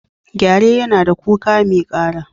Gyare yana da kuka mai ƙara.